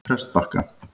Prestbakka